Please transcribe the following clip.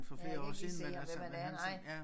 Ja jeg kan ikke lige se ham hvem han er nej